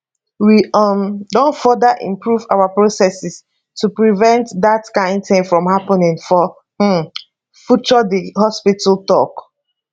we um don further improve our processes to prevent dat kain tin from happening for um future di hospital tok